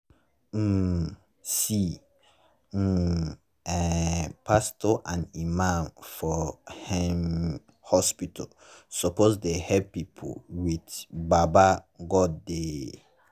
um see [um][um]pastos and imams for hmn hospitals suppos dey helep pple with baba godey.